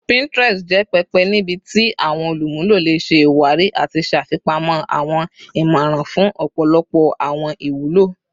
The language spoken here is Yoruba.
Pinterest jẹ pẹpẹ nibiti awọn olumulo le ṣe iwari ati ṣafipamọ awọn imọran fun ọpọlọpọ awọn iwulo